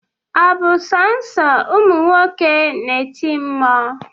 ọ bu sọsọ ụmụ nwoke na-eti mmụọ?